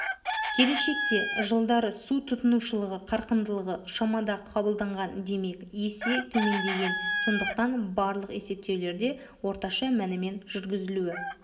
келешекте жылдары су тұтынушылығы қарқындылығы шамада қабылданған демек есе төмендеген сондықтан барлық есептеулерде орташа мәнімен жүргізілуі